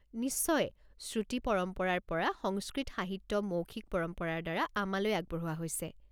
নিশ্চয়! শ্ৰুতি পৰম্পৰাৰ পৰা, সংস্কৃত সাহিত্য মৌখিক পৰম্পৰাৰ দ্বাৰা আমালৈ আগবঢ়োৱা হৈছে।